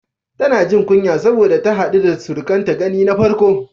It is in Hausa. Tana jin kunya sanda ta haɗu da surukanta gani na farko.